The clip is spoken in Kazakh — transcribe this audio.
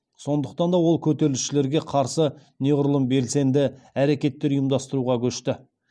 сондықтан да ол көтерілісшілерге қарсы неғұрлым белсенді әрекеттер ұйымдастыруға көшті